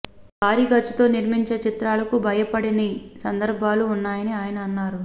భారీ ఖర్చుతో నిర్మించే చిత్రాలకు భయపడిన సందర్భాలు ఉన్నాయని అయన అన్నారు